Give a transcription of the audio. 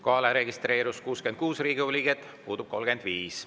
Kohalolijaks registreerus 66 Riigikogu liiget, puudub 35.